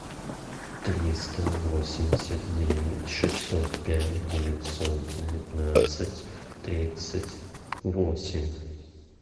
триста восемьдесят девять шестьсот пять девятьсот девятнадцать тридцать восемь